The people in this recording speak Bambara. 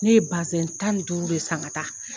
Ne ye tan ni duuru de san ka taa